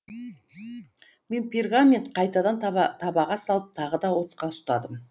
мен пергамент қайтадан табаға салып тағы да отқа ұстадым